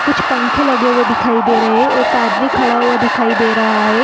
कुछ पंखे लगे हुए दिखाई दे रहे एक आदमी खड़ा हुआ दिखाई दे रहा है।